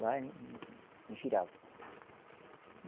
Lá em, em, em Jirau